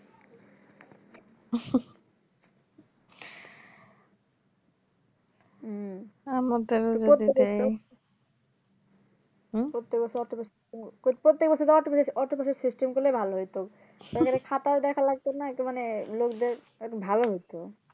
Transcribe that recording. হম প্রত্যেক বাসে যাওয়ার চেয়ে autobus এর system গুলাই ভালো হয়তো এখানে খাতাও দেখা লাগতো না আর কি মানে লোকদের ভালো হতো